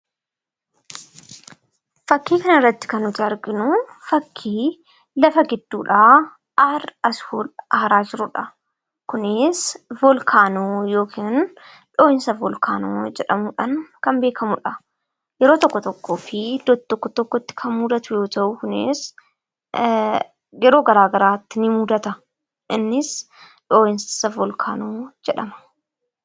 Fakkii kana irratti kan nuti arginu fakkii lafa gidduudhaa aara asii ol aaraa jirudha. Konis voolkaanoo jedhamuudhaan kan beekamudha. Yeroo tokko tokkoo fi iddoo tokko tokkotti kan mudatu yoo ta'u, kunis yeroo garaa garaatti ni mudata.